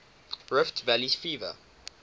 rift valley fever